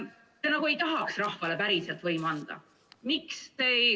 Te nagu ei tahaks rahvale päriselt võimu anda.